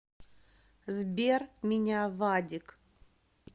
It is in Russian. сбер меня вадик